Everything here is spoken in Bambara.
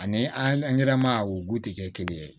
Ani angɛrɛ ma a wo ti kɛ kelen ye